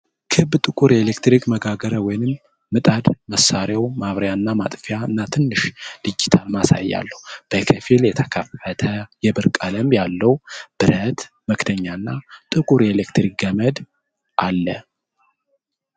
ክብ፣ ጥቁር ኤሌክትሪክ መጋገሪያ ወይም ምጣድ ። መሣሪያው ማብሪያ / ማጥፊያ እና ትንሽ ዲጂታል ማሳያ አለው። በከፊል የተከፈተ የብር ቀለም ያለው ብረት መክደኛ እና ጥቁር የኤሌክትሪክ ገመድ አለ።